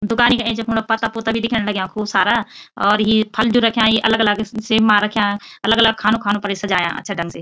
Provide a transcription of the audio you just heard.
दुकानी का ऐंचा फुण पत्ता पुत्ता भी दिखेंण लग्यां खूब सारा और यी फल जू रख्याँ यी अलग अलग सि सिम मा रख्याँ अलग अलग खानों खानों पर सजायाँ अच्छा ढंग से।